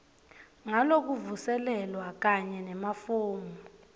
ngalokuvuselelwa kanye nemafomu